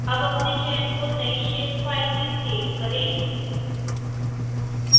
अब अपने चयन को नई shapefile में सेव करें